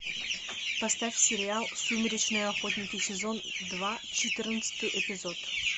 поставь сериал сумеречные охотники сезон два четырнадцатый эпизод